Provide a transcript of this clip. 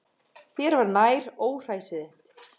Þér var nær, óhræsið þitt.